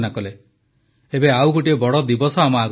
ଏବେ ଆଉ ଗୋଟିଏ ବଡ଼ ଦିବସ ଆମ ଆଗରେ ରହିଛି